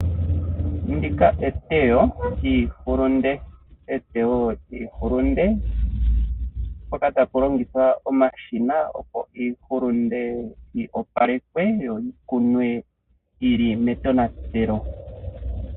Ndika etewo lyiihulunde mpoka tapu longithwa omashina opo iihulunde yi opalekwe yo yikunwe yili metonatelo.